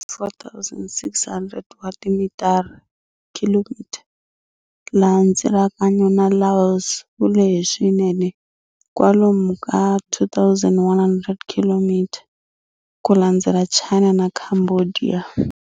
4,600 wa timitara km, laha ndzilakano na Laos wu leheke swinene, kwalomu ka 2 100 km, ku landzela China na Cambodia.